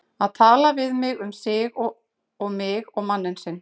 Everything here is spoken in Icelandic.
Að tala við mig um sig og mig og manninn sinn!